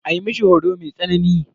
A yi mishi horo mai tsanani.